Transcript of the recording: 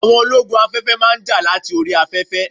Àwọn ológun afẹ́fẹ́ máa ń jà láti orí afẹ́fẹ́